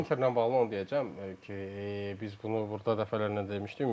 Interlə bağlı onu deyəcəm ki, biz bunu burda dəfələrlə demişdik.